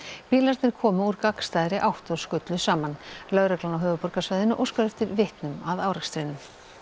bílarnir komu úr gagnstæðri átt og skullu saman lögreglan á höfuðborgarsvæðinu óskar eftir vitnum að árekstrinum